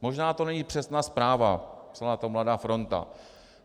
Možná to není přesná zpráva, psala to Mladá fronta.